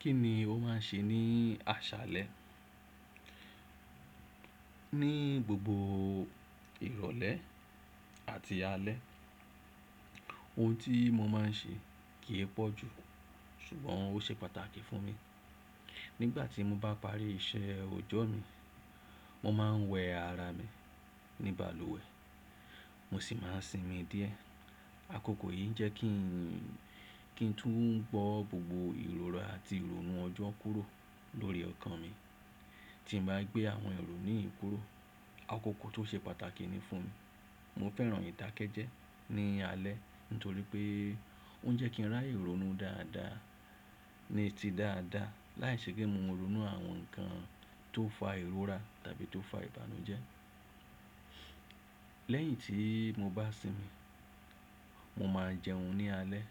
Kí ni o máà ń ṣe ní àṣálẹ́? Ní gbogbo ìrọ̀lẹ́ àti alẹ́, ohun tí mo máa ń ṣe kì í pọ̀ jù, ṣùgbọ́n ó ṣe pàtàkì fún mi. Nígbà tí mo bá parí iṣẹ́ ọjọ́ mi, mo máa ń wẹ ara mi ní balùwẹ̀, mo sì máa ń sinmi díẹ̀. Àkókò yìí jẹ́ kí n, kí n tún gbọ́ gbogbo ìrọra àti ìrònú ọjọ́ kúrò lórí ọkàn mi. Tí n bá gbé àwọn ìrònú yìí kúrò, àkókò tó ṣe pàtàkì ni fún mi. Mo fẹ́ràn ìdàkẹ́jẹ́ ní alẹ́ nítorí pé ó ń jẹ́ kí ń ráàyè rònú dáadáa, ní ti dáadáa láìṣe pé mo rònú àwọn nǹkan tó fa ìrora tàbí tó fa ìbànújẹ́. Lẹ́yìn tí mo bá sinmi, mo máa jẹun ní alẹ́.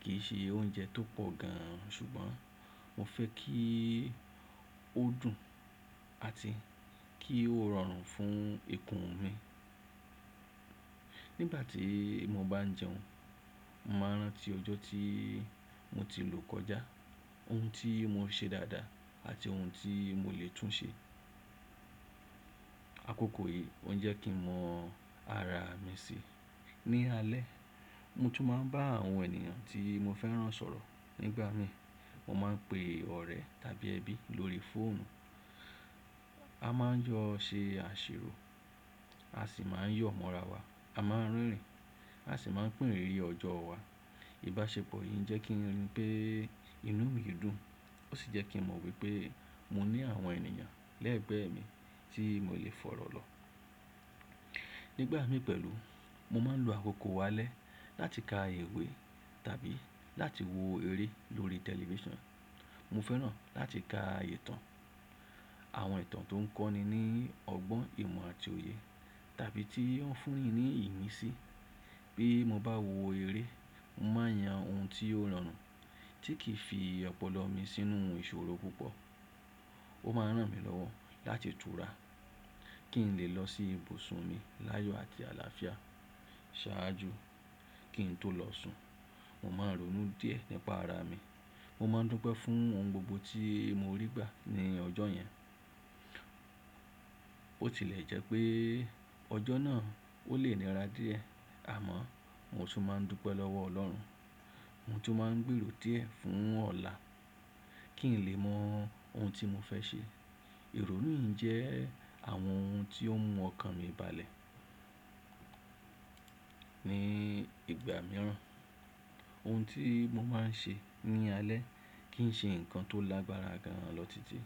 Kì í ṣe oúnjẹ tó pọ̀ gan an, ṣùgbọ́n mo fẹ́ kí ó dùn àti kí ó rọrùn fún ikùn mi. Nígbà tí mo bá ń jẹun, mo máa ń rántí ọjọ́ tí mo ti lò kọjá, ohun tí mo ṣe dáadáa àti ohun tí mo lè tún ṣe. Àkókò yìí ó ń jẹ́ kí mọ ara mi si. Ní alẹ́, mo tún máa ń bá àwọn ènìyàn tí mo fẹ́ràn sọ̀rọ̀ nígbà mi. Mo máa ń pe ọ̀rẹ́ tàbí ẹbí lórí fóònù. A máa ń jọ́ ṣe àṣírò, a ṣì máa ń yọ̀ mọ́ra wa. A máa ń rìn, a sì máa ń pín rìnrìn ọjọ́ wa. Ìbáṣepọ̀ yìí jẹ́ kí n rí pé inú mi dùn, ó ṣì jẹ́ kí mọ̀ wípé mo ní àwọn ènìyàn lẹ́ẹ̀gbẹ́ mi tí mo lè fọ̀rọ̀ lọ. Nígbà mi pẹ̀lú, mo máa ń lo àkókò alẹ́ láti ka ìwé tàbí láti wo eré lórí tẹlifíṣàn. Mo fẹ́ràn láti ka ìtàn, àwọn ìtàn tó ń kọ́ni ní ọgbọ́n ìmọ̀ àti òye tàbí tí ó fún ni ní ìmísí. Bí mo bá wo eré, mo máa yan ohun tí ó rọrùn, tí kì í fi ọpọlọ mi sínú ìṣòro púpọ̀. Ó máa ń ràn mí lọ́wọ́ láti tura, kí n lè lọ sí ibùsùn mi láyọ àti àlàáfíà. Ṣáájú kí n tó lọ sùn, mo máa ń rònú díẹ̀ nípa ara mi. Mo máa ń dúpẹ́ fún ohun gbogbo tí mo rí gbà ní ọjọ́ yẹn. Ó tilẹ̀ jẹ́ pé ọjọ́ náà ó lè nira díẹ̀, àmọ́ mo tún máa ń dúpẹ́ lọ́wọ́ ọlọ́run. Mo tún máa ń gbèrò díẹ̀ fún ọ̀la kí n lè mọ ohun tí mo fẹ́ ṣe. Ìrònú yìí jẹ́ àwọn ohun tí ó mú ọkàn mi balẹ̀ níí ìgbà mìíràn. Ohun tí mo máa ń ṣe ní alẹ́ kìí ṣe nǹkan tó lágbára gan an lọ títí,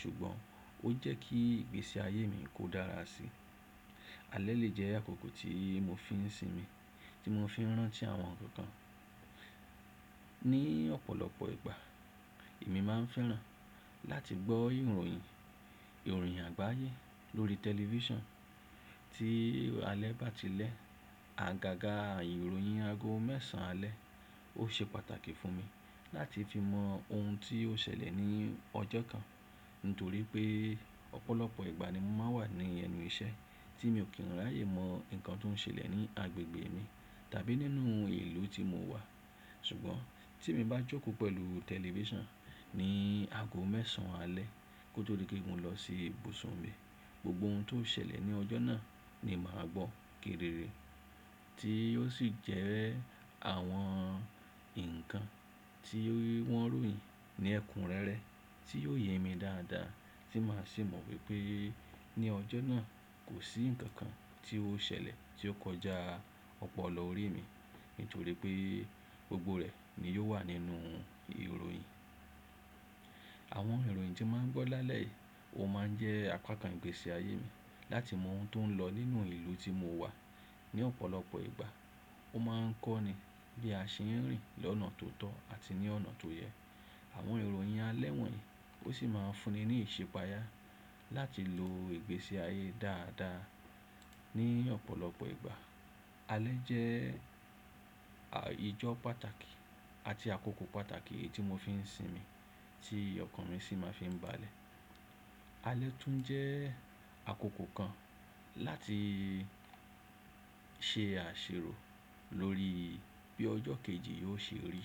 ṣùgbọ́n ó jẹ́ kí ìgbésí ayé mi kó dára síi. Alẹ́ lè jẹ́ àkókò tí mo fi ń sinmi, tí mo fi ń rántí àwọn nǹkan kàn Ní ọ̀pọ̀lọpọ̀ ìgbà, èmi máa ń fẹ́ràn láti gbọ́ ìròyìn, ìròyìn àgbáyé lórí tẹlifíṣàn. Tí alẹ́ bá tilẹ̀, àgàgà ìròyìn ago mẹ́sàn alẹ́, ó ṣe pàtàkì fún mi láti fi mọ ohun tí ó ṣẹlẹ̀ ní ọjọ́ kan nítorí pé ọ̀pọ̀lọpọ̀ ìgbà ni mo máa ń wà ní ẹnu iṣẹ́ tí mi ò kí ń rààyè mọ nǹkan tó ń ṣẹlẹ̀ ní agbègbè mi tàbí nínú ìlú tí mo wà. Ṣùgbọ́n tí èmi bá jókòó pẹ̀lú tẹlifíṣàn ní ago mẹ́sàn alẹ́ kó tó dí pé mọ lọ sí ibùsùn mi, gbogbo ohun tó ṣẹlẹ̀ ní ọjọ́ náà ni màá gbọ́ kedere tí ó ṣì jẹ́ àwọn nǹkan tí wọ́n ròyìn ní ẹkùn rere tí yóò yé mi dáadáa tí màá sì mọ̀ wípé ní ọjọ́ náà kò sí nǹkan kan tí ó ṣẹlẹ̀ tí ó kọjá ọpọlọ orí mi nítorí pé gbogbo rẹ̀ ni yóò wà nínú ìròyìn. Àwọn ìròyìn tí màá ń gbọ́ lálẹ́ yìí ó máa ń jẹ́ àpákan ìgbésí ayé mi láti mọ ohun tó ń lọ nínú ìlú tí mo wà. Ní ọ̀pọ̀lọpọ̀ ìgbà ó máa ń kọ́ni bí a ṣe ń rìn lọ́nà tó tọ́ àti ní ọ̀nà tó yẹ. Àwọn ìròyìn alẹ́ wọ̀nyí ó ṣì máa ń fún ni ní ìṣipayà láti lo ìgbésí ayé dáadáa. Ní ọ̀pọ̀lọpọ̀ ìgbà, alẹ́ jẹ́ ìjọ pàtàkì àti àkókò pàtàkì èyí tí mo fi ń sinmi tí ọkàn mi ṣì máa fi ń balẹ̀. Alẹ́ tún jẹ́ àkókò kan láti ṣe àṣírò lórí bí ọjọ́ kejì yóò ṣe rí.